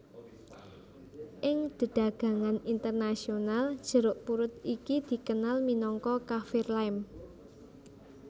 Ing dedagangan internasional jeruk purut iki dikenal minangka kaffir lime